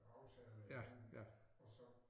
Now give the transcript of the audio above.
Aftaler igennem og så